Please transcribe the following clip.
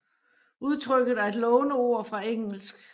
Udtrykket er et låneord fra engelsk